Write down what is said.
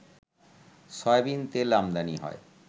soybean তেল আমদানি হয়